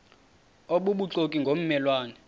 obubuxoki ngomme lwane